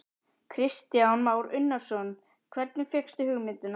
Kristján Már Unnarsson: Hvernig fékkstu hugmyndina?